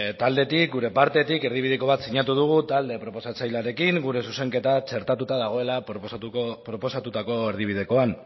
taldetik gure partetik erdibideko bat sinatu dugu talde proposatzailearekin gure zuzenketa txertatuta dagoela proposatutako erdibidekoan